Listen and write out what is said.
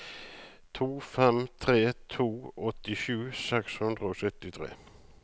to fem tre to åttisju seks hundre og syttitre